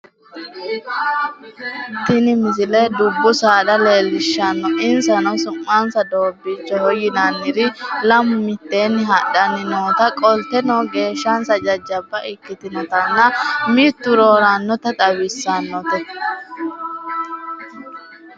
tini misile dubbu saada leellishshanno insano su'mansa doobbiichoho yinaniri lamu mitteeni hadhanni noota qolteno geeshshannsa jajjabba ikkitinotanna mittu roorannota xawissanote